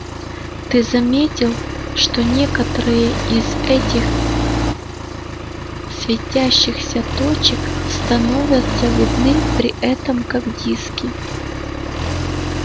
ты заметил что некоторые из этих светящихся точек становятся видны при этом как диски